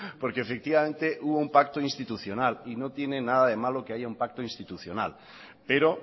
porque efectivamente hubo un pacto institucional y no tiene nada de malo que haya un pacto institucional pero